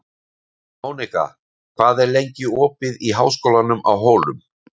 Mónika, hvað er lengi opið í Háskólanum á Hólum?